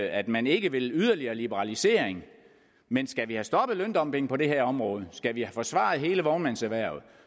at man ikke vil yderligere liberalisering men skal vi have stoppet løndumping på det her område og skal vi have forsvaret hele vognmandserhvervet